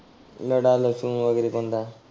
लडा लसुन वगैरे कोणाला?